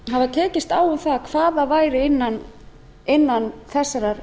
e e s nefndarinnar hvað það væri innan þessarar